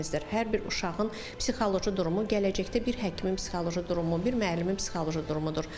Hər bir uşağın psixoloji durumu gələcəkdə bir həkimin psixoloji durumu, bir müəllimin psixoloji durumudur.